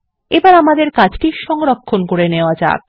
এবার আমাদের কাজটি সংরক্ষণ করে নেওয়া যাক